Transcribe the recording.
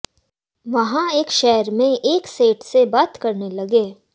वहां एक शहर में एक सेठ से बात करने लगे